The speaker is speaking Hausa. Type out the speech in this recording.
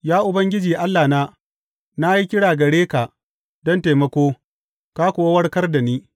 Ya Ubangiji Allahna, na yi kira gare ka don taimako ka kuwa warkar da ni.